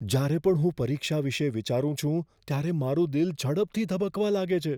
જ્યારે પણ હું પરીક્ષા વિશે વિચારું છું ત્યારે મારું દિલ ઝડપથી ધબકવા લાગે છે.